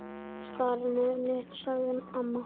Skarnið mitt, sagði amma.